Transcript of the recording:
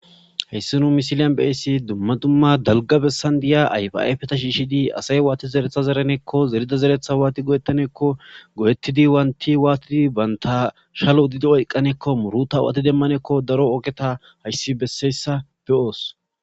Issi nu mosiliyan be7ishin dumma dumma dalgga bessan diya ayfaayfeta shiishshidi asay waathi zeretha zeranekko zerido zereththaa waathi go7eththanekko go7eththidi wanththi banththa shalo oyqqanekko murutha awude demmaneko wogetha hayssi bessoossa be7oos.